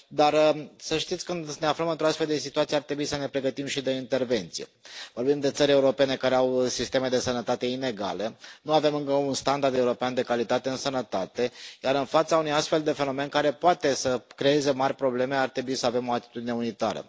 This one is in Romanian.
Dar să știți că, atunci când ne aflăm într o astfel de situație, ar trebui să ne pregătim și de intervenție. Vorbim de țări europene care au sisteme de sănătate inegale, nu avem încă un standard european de calitate în sănătate, iar, în fața unui astfel de fenomen care poate să creeze mari probleme, ar trebui să avem o atitudine unitară.